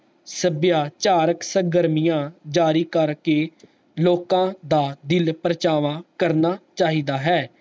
ਸੱਭਿਆਚਾਰਕ ਸੰਗਰਾਮੀਆਂ ਜਾਰੀ ਕਰ ਕੇ ਲੋਕ ਦਾ ਦਿਲ ਪ੍ਰਚਾਵਾ ਕਰਨਾ ਚਾਹੀਦਾ ਹੈ